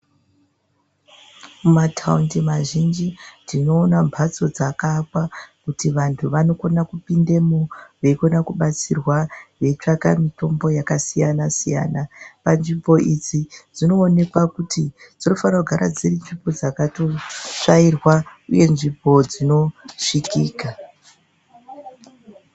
Mataundi mazhinji tinoona mbatso dzakaakwa kuti vantu vanokona kupindemwo veikona kubatsirwa veitsvaka mutombo yakasiyana siyana panzvimbo idzi dzinoonekwa kuti dzinofanirwa kugara dziri nzvimbo dzakatsvairwa dziri nzvimbo dzinosvikika .